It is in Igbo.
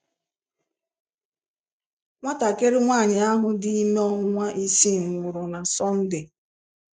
Nwatakịrị nwanyị ahụ dị ime ọnwa isii nwụrụ na Sọnde.